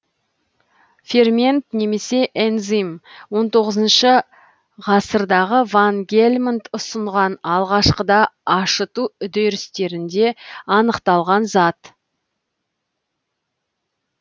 фермент немесе энзим он тоғызыншы ғасырдағы ван гельмонт ұсынған алғашқыда ашыту үдерістерінде анықталған зат